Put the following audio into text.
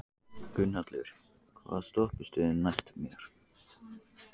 Gunnhallur, hvaða stoppistöð er næst mér?